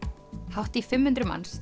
hátt í fimm hundruð manns